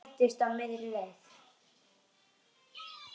Hræddist á miðri leið